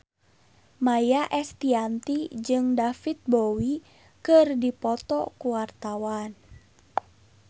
Maia Estianty jeung David Bowie keur dipoto ku wartawan